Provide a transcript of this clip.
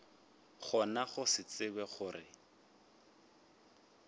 gona go se tsebe gore